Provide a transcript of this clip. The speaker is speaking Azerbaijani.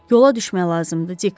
Yola düşmək lazımdır, Dik.